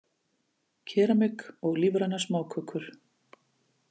Keramik og lífrænar smákökur